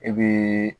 E be